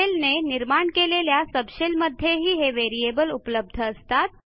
शेलने निर्माण केलेल्या सबशेल मध्येही हे व्हेरिएबल उपलब्ध असतात